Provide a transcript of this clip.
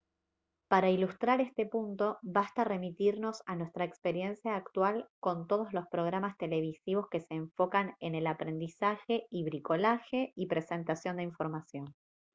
para ilustrar este punto basta remitirnos a nuestra experiencia actual con todos los programas televisivos que se enfocan en el aprendizaje y bricolaje y presentación de información